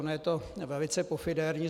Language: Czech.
Ono je to velice pofidérní.